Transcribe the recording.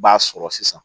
I b'a sɔrɔ sisan